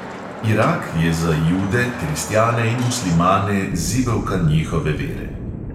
Irak je za jude, kristjane in muslimane zibelka njihove vere.